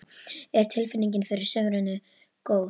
Er tilfinningin fyrir sumrinu góð?